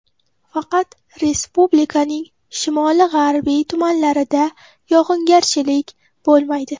Faqat respublikaning shimoli-g‘arbiy tumanlarida yog‘ingarchilik bo‘lmaydi.